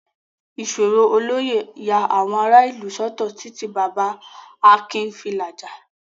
Ìṣòro olóyè ya àwọn ará ìlú sọ́tọ̀ títí Baba Akin fi làjà.